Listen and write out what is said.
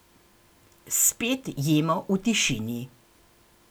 Spet jemo v tišini.